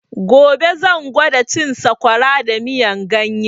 Gobe zan gwada cin sakwara da miyan ganye